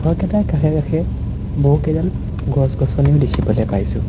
ঘৰকেইটাৰ কাষে কাষে বহুতকেইডাল গছ গছনিও দেখিবলৈ পাইছোঁ।